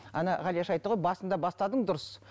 ана ғалияш айтты ғой басында бастадың дұрыс